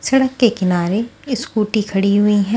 सड़क के किनारे स्कूटी खड़ी हुई है।